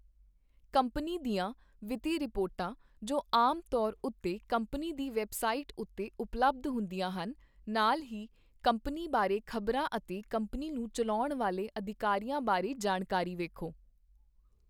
Company ਦੀਆਂ ਵਿੱਤੀ ਰਿਪੋਰਟਾਂ, ਜੋ ਆਮ ਤੌਰ ਉੱਤੇ ਕੰਪਨੀ ਦੀ ਵੈੱਬਸਾਈਟ ਉੱਤੇ ਉਪਲਬਧ ਹੁੰਦੀਆਂ ਹਨ, ਨਾਲ ਹੀ ਕੰਪਨੀ ਬਾਰੇ ਖ਼ਬਰਾਂ ਅਤੇ ਕੰਪਨੀ ਨੂੰ ਚੱਲਾਉਣ ਵਾਲੇ ਅਧਿਕਾਰੀਆਂ ਬਾਰੇ ਜਾਣਕਾਰੀ ਵੇਖੋ।